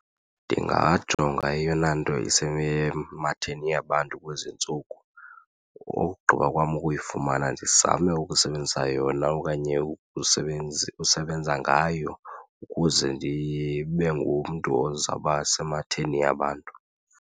Ndingajonga eyona nto isematheni yabantu kwezi ntsuku. Ogqiba kwam ukuyifumana ndizame ukusebenzisa yona okanye usebenza ngayo ukuze ndibe ngumntu ozawuba esematheni yabantu.